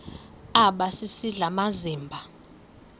aba sisidl amazimba